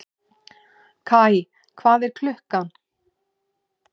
Kaj, hvað er klukkan?